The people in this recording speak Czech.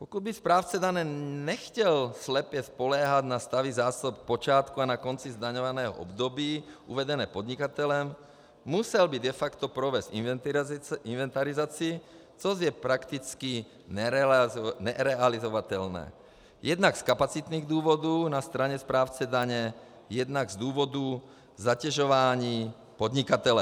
Pokud by správce daně nechtěl slepě spoléhat na stavy zásob na počátku a na konci zdaňovaného období uvedené podnikatelem, musel by de facto provést inventarizaci, což je prakticky nerealizovatelné jednak z kapacitních důvodů na straně správce daně, jednak z důvodu zatěžování podnikatele.